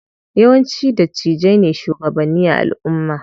Yawanci dattijai ne shugabanni a alumma.